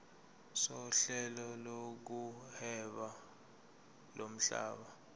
sohlelo lokuhweba lomhlaba